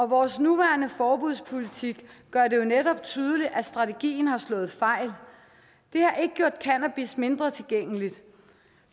vores nuværende forbudspolitik gør det jo netop tydeligt at strategien har slået fejl det har ikke gjort cannabis mindre tilgængeligt